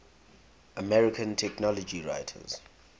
american technology writers